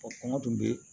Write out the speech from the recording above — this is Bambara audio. kɔngɔ dun be